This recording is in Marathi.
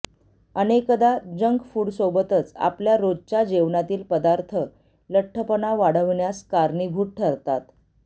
अनेकदा जंक फूडसोबतच आपल्या रोजच्या जेवणातील पदार्थ लठ्ठपणा वाढवण्यास कारणीभूत ठरतात